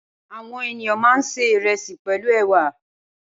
Awòn éniyàn mà n sé irèsí pèlú èwà